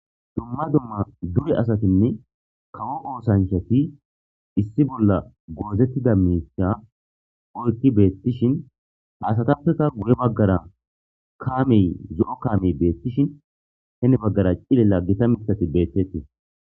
Dumma dumma dure asatinne kawo oosancshati issi bolla goozettida mika oykki beettishin hasatappeka guye baggara kaamey zo'o kaamey beettishin heni baggara cilella gita mitati bettettii.